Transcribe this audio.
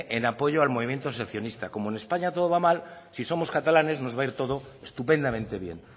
en apoyo al movimiento secesionista como en españa todo va mal si somos catalanes nos va a ir todo estupendamente bien